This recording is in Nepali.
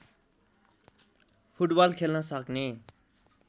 फुटबल खेल्न सक्ने